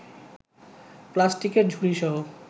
প্লাস্টিকের ঝুড়িসহ